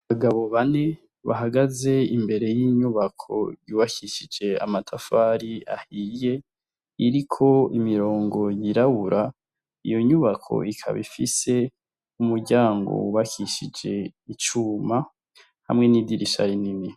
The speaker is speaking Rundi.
Abagabo bane bahagaze imbere y'inyubako yubakishije amatafari ahiye iriko imirongo yirabura iyo nyubako ikaba ifise umuryango wubakishije icuma hamwe n' idirisha rinini.